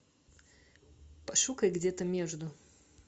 пошукай где то между